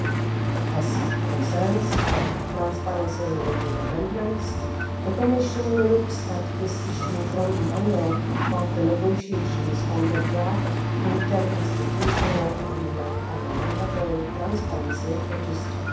With regard to the transparency-related amendments, the Commission looks at this issue from the angle of the negotiations on the draft interinstitutional agreement on a mandatory transparency register.